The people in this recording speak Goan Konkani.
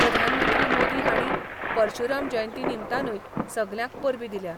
प्रधानमंत्री मोदी हाणी परशुराम जयंतीनिमतानुय सगल्यांक परबी दिल्या.